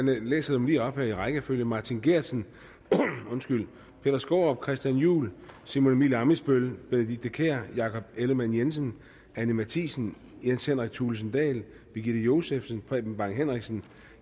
jeg læser dem lige op her i rækkefølge martin geertsen peter skaarup christian juhl simon emil ammitzbøll benedikte kiær jakob ellemann jensen anni mathiesen jens henrik thulesen dahl birgitte josefsen preben bang henriksen